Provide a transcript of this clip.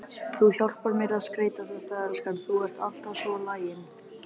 Þú hjálpar mér að skreyta þetta, elskan, þú ert alltaf svo lagin.